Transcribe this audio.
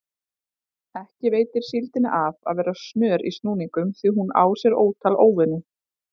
Ekki veitir síldinni af að vera snör í snúningum því hún á sér ótal óvini.